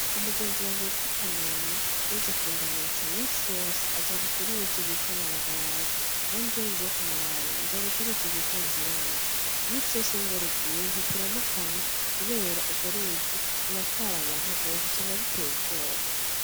Umugenzi wanje yitwa Kanuma, yaje kundamutsa. Iminsi yose ajabuka uruzi rwitwa Maragarazi. Nanje iyo ngiye kumuraba njabuka uruzi rwitwa Ruvyironza. Iminsi yose iyo imvura iguye ntituramukanya, kubera urwo ruzi ruratwara abantu gose usanga biteye ubwoba.